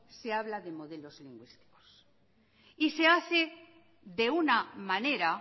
se habla de modelos lingüísticos y se hace de una manera